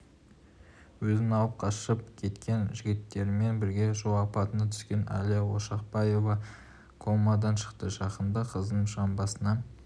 өзін алып қашып кеткен жігіттермен бірге жол апатына түскен әлия ошақбаева комадан шықты жақында қыздың жамбасына